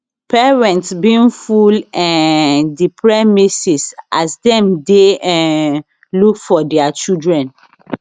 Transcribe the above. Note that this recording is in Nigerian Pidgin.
parents bin full um di premises as dem dey um look for dia children